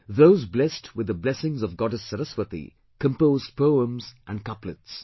Those blessed with the blessings of Goddess Saraswati composed poems and couplets